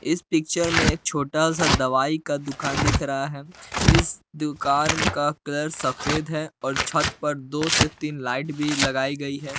इस पिक्चर में एक छोटा सा दवाई का दुकान दिख रहा है इस दुकान का कलर सफेद है और छत पर से लाइट भी लगाई गई है।